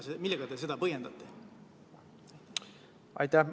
Millega te seda põhjendate?